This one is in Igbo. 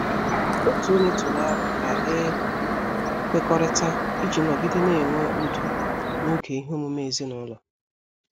Otu ọnye tụrụ aro ka e kwekọrịta iji nọgide na-enwe udo n'oge ihe omume ezinụlọ.